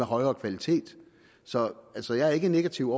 højere kvalitet så så jeg er ikke negativ